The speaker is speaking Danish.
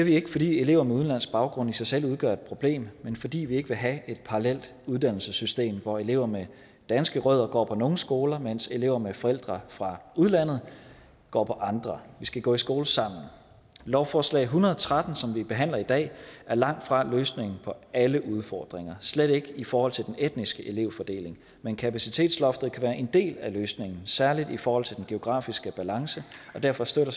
ikke fordi elever med udenlandsk baggrund i sig selv udgør et problem men fordi vi ikke vil have et parallelt uddannelsessystem hvor elever med danske rødder går på nogle skoler mens elever med forældre fra udlandet går på andre vi skal gå i skole sammen lovforslag hundrede og tretten som vi behandler i dag er langtfra løsningen på alle udfordringer slet ikke i forhold til den etniske elevfordeling men kapacitetsloftet kan være en del af løsningen særligt i forhold til den geografiske balance og derfor støtter